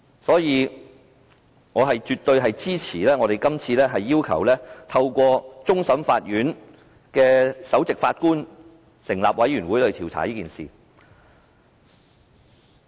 所以，我絕對支持，今次要求透過終審法院首席法官組成調查委員會調查此事。